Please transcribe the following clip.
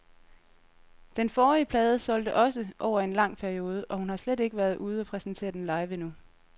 Den forrige plade solgte også over en lang periode, og hun har slet ikke været ude og præsentere den live endnu.